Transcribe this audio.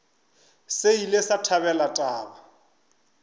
se ile sa thabela taba